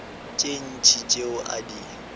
tše ntši tšeo a di